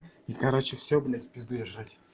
и короче всё блять в пизду я жрать